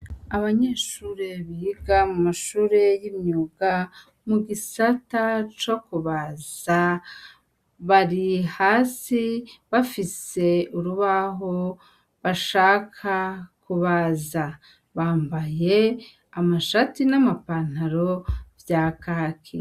Abanyeshure biga mu mashure y'imyuga mu gisata co kubaza bari hasi bafise urubaho bashaka kubaza bambaye amashati n'amapantaro vya kakia.